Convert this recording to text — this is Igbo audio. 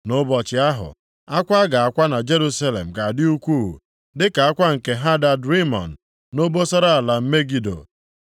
Nʼụbọchị ahụ, akwa a ga-akwa na Jerusalem ga-adị ukwuu, dịka akwa nke Hadad Rimọn nʼobosara ala Megido.